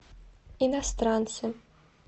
иностранцы